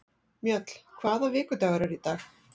Mjöll, hvaða vikudagur er í dag?